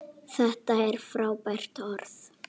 Þetta er frábært orð.